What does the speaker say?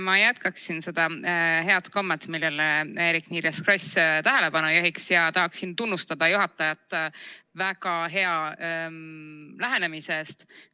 Ma jätkaksin seda head kommet, millele Eerik-Niiles Kross tähelepanu juhtis, ja tahaksin tunnustada juhatajat väga hea lähenemise eest!